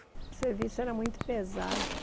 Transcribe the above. O serviço era muito pesado.